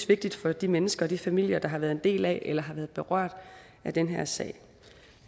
vigtigt for de mennesker og de familier der har været en del af eller har været berørt af den her sag